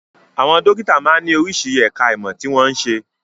Àwọn dókítà máa ń ní oríṣi ẹ̀ka ìmọ̀ tí wọ́n n ṣe.